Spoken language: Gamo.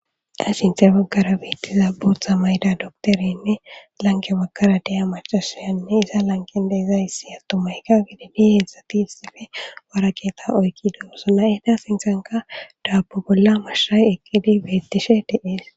Ha sinte bagara beittiza bootha mayda doktorenne lanqe bagkara de'iya macasayanne iza lanqen deezayssi attomayka gididi hedzsati issippe warageeta oykki duoso na'ata sinsanka daabo bolla mashshay eqqidi beettishe de'es